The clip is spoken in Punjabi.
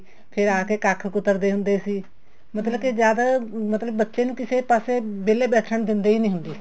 ਫ਼ੇਰ ਆ ਕੇ ਕੱਖ ਕੁਤਰਦੇ ਹੁੰਦੇ ਸੀ ਮਤਲਬ ਕੇ ਜਦ ਬੱਚੇ ਨੂੰ ਕਿਸੇ ਪਾਸੇ ਵਿਹਲੇ ਬੈਠਣ ਨੀ ਦਿੰਦੇ ਹੁੰਦੇ ਸੀ